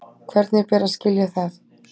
Hvernig ber að skilja það?